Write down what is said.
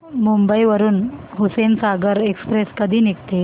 मुंबई वरून हुसेनसागर एक्सप्रेस कधी निघते